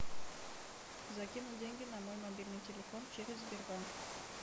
закинуть деньги на мой мобильный телефон через сбербанк